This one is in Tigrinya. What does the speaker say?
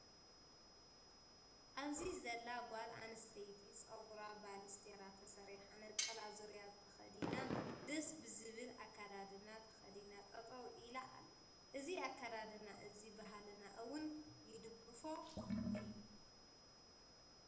ኣብዚ ዘላ ጓል ኣነስተይቲ ፀጉራ ባሌስትራ ተሰርሓ ነፀላ ዙርያ ከከዲና ደስ ብዝብል ኣከዳድና ተከዲና ጠጠው ኢላ ኣላ። እዚ ኣከዳድና እዙይ ባህልና እውን ይድግፎ እዩ።